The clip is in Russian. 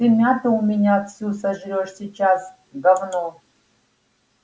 ты мяту у меня всю сожрёшь сейчас говно